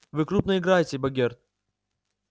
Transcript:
вы крупно играете богерт